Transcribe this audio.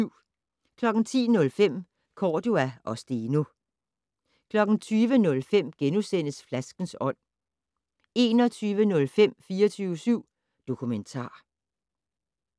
10:05: Cordua og Steno 20:05: Flaskens ånd * 21:05: 24syv Dokumentar